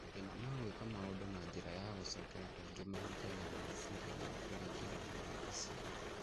Mathĩna ma gwĩka maũndũ na njĩra ya gũcokera kaingĩ mahutagia meciria ma kũringĩrĩrio gwĩka cĩiko